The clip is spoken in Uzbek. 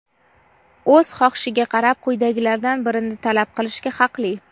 o‘z xohishiga qarab quyidagilardan birini talab qilishga haqli:.